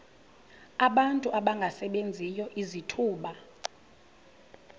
abantu abangasebenziyo izithuba